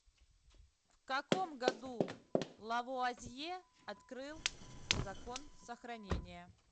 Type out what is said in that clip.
в каком году лавуазье открыл закон сохранения